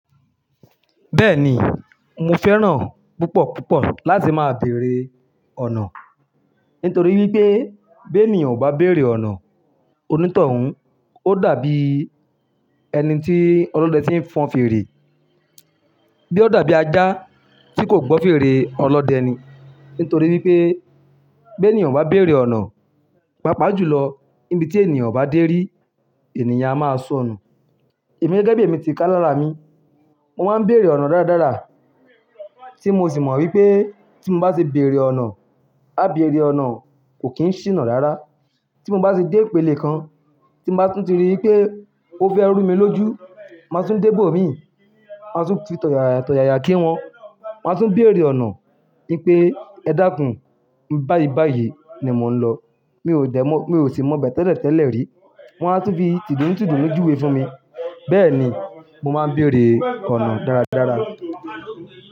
Bẹ́ẹ̀ni, mo fẹ́ràn púpọ̀ púpọ̀ láti máa bèrè ọ̀nà. Nítorí wípé bí ènìyàn ò bá bèrè ọ̀nà onítọ̀hún ó dàbí ẹni tí ọlọ́dẹ ti ń fọn fèrè. Bí ó dàbí ajá tí kò gbọ́ fèrè ọlọ́dẹ ni. Nítorí wípé bí ènìyàn ò bá bèrè ọ̀nà, pàápàá jùlọ níbi tí ènìyàn obá dé rí ènìyàn á máa sọnù. Èmi gẹ́gẹ́ bí èmi ti kà lára mi, mo máa ń bèrè ọ̀nà dáradára. Tí mo sì mọ̀ wípé tí mo bá ṣe bèrè ọ̀nà, á bèrè ọ̀nà kò kí ń ṣìnà rára. Tí mo bá ṣe dé ìpele kan, tí mo bá tún rí i pé ó fẹ́ rú mi lójú, màá tún débò mí, màá tún fi tọ̀yàyà tọ̀yàyà kí wọn. Màá tún bèrè ọ̀nà wípé ẹ dákún báyi báyi ni mò ń lọ. Mi ò sì mọ̀ bẹ́ẹ̀ tẹ́lẹ̀ tẹ́lẹ̀ rí. Wọ́n á tún fi tìdùn tìdùn júwe fún mi. Bẹ́ẹ̀ ni mo máa ń bèrè ọ̀nà dáradára.